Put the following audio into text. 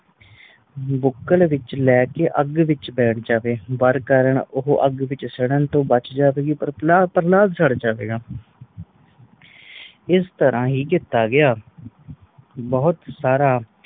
ਬੁੱਕਲ ਵਿਚ ਲੈ ਕੇ ਅਗ ਵਿਚ ਬੈਠ ਜਾਵੇ। ਵਰ ਕਾਰਨ ਉਹ ਅਗ ਤੋਂ ਸੜਨ ਤੋਂ ਬਚ ਜਾਵੇਗੀ ਪਰ ਪ੍ਰ ਪ੍ਰਹਲਾਦ ਸੜ ਜਾਵੇਗਾ। ਇਸ ਤਰਾਂ ਹੀ ਕੀਤਾ ਗਯਾ। ਬਹੁਤ ਸਾਰਾ